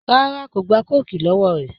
Rárá kò gba kóòkì lọ́wọ́ rẹ̀